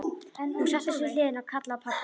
Hún settist við hlið hennar og kallaði á pabba.